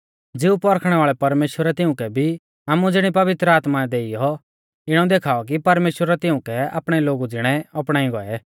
ज़िऊ पौरखणै वाल़ै परमेश्‍वरै तिउंकै भी आमु ज़िणी पवित्र आत्मा देइयौ इणौ देखाऔ कि परमेश्‍वरै तिउंकै आपणै लोगु ज़िणै अपणाई गौऐ